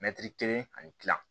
Mɛtiri kelen ani kila